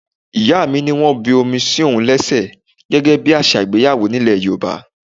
Ìyá mi ní wọ́n bu omi sí òun léṣe gẹ́gẹ́ bí àṣà ìgbéyàwó nílè Yorùbá.